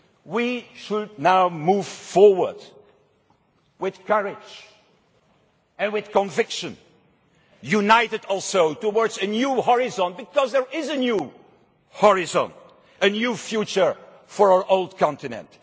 We should now move forward with courage and with conviction, also united towards a new horizon because there is a new horizon, a new future for our old continent.